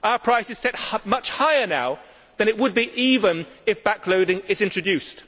Our price is set much higher now than it would be even if back loading is introduced.